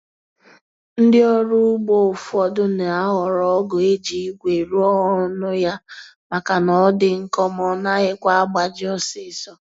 Ndị ọrụ ugbo ụfọdụ na-ahọrọ ọgụ eji igwe rụọ ọnụ ya maka na ọdi nkọ ma ọ naghịkwa agbaji ọsịsọ